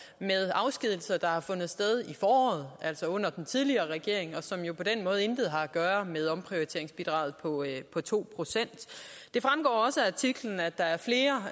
afskedigelser der har fundet sted i foråret altså under den tidligere regering og som jo på den måde intet har at gøre med omprioriteringsbidraget på to procent det fremgår også af artiklen at der er flere